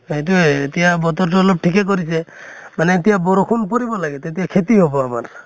সেইটোয়ে এতিয়া বতৰটো অলপ ঠিকে কৰিছে, মানে এতিয়া বৰষুণ পৰিব লাগে তেতিয়া খেতি হʼব আমাৰ